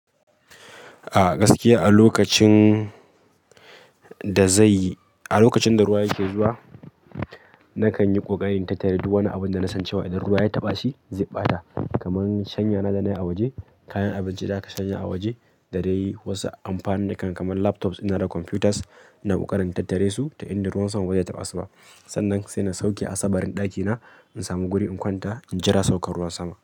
A gaskiya a lokacin da zai yi a lokacin da ruwa yake zuwa nakan yi ƙoƙarin in tattare duk wani abun da nasan cewa idan ruwa ya taɓa shi zai ɓata kamar shanya na da na yi a waje, kayan abinci da aka shanya a waje da dai wasu amfanin kan kamar laptops da na da computers. Ina ƙoƙarin in tattare su ta inda ruwan sama ba zai taɓa su ba. Sannan sai na sauke asabarin ɗakina in samu guri in kwanta in jira saukar ruwan sama.